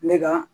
Ne ka